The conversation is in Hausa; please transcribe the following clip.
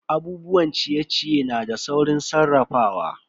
Abubuwan ciye-ciye na da saurin sarrafawa.